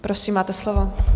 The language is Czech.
Prosím, máte slovo.